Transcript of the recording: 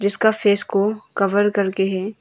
इसका फेस को कवर करके है।